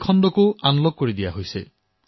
এই খণ্ডকো এতিয়া আনলক কৰা হৈছে